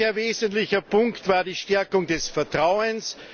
Ein sehr wesentlicher Punkt war die Stärkung des Vertrauens.